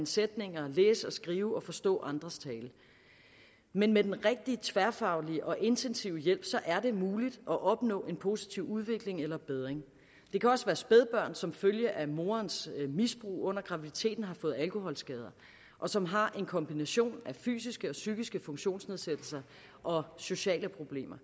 sætninger læse og skrive og forstå andres tale men med den rigtige tværfaglige og intensive hjælp er det muligt at opnå en positiv udvikling eller bedring det kan også være spædbørn der som følge af morens misbrug under graviditeten har fået alkoholskader og som har en kombination af fysiske og psykiske funktionsnedsættelser og sociale problemer